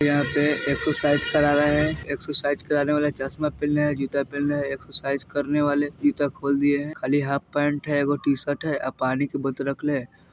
यहाँ पे एक्सरसाइस करा रहे है एक्सरसाइस कराने वाले चश्मा पहनेले है जूता पहनेले है एक्सरसाइज करने वाले जूता खोल दिए हैं खाली हाफ पेंट है एगो टी-शर्ट है आ पानी के बोतले रखले हेय।